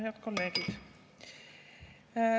Head kolleegid!